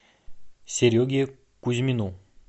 сереге кузьмину